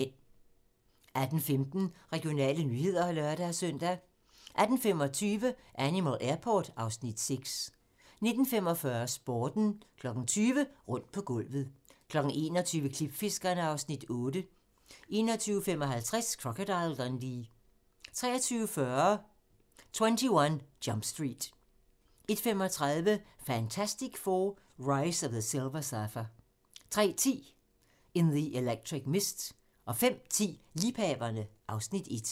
18:15: Regionale nyheder (lør-søn) 18:25: Animal Airport (Afs. 6) 19:45: Sporten 20:00: Rundt på gulvet 21:00: Klipfiskerne (Afs. 8) 21:55: Crocodile Dundee 23:40: 21 Jump Street 01:35: Fantastic Four: Rise of the Silver Surfer 03:10: In the Electric Mist 05:10: Liebhaverne (Afs. 1)